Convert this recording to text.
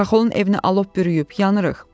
Xaxolun evini alov bürüyüb, yanırıq.